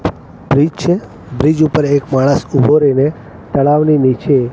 bridge છે bridge ઉપર એક માણસ ઉભો રઇને તળાવની નીચે--